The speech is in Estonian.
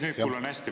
Nüüd kuulen hästi.